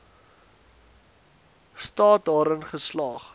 staat daarin geslaag